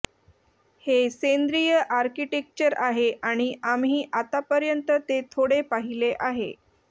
हे सेंद्रीय आर्किटेक्चर आहे आणि आम्ही आतापर्यंत ते थोडे पाहिले आहे